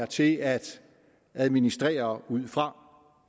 til at administrere ud fra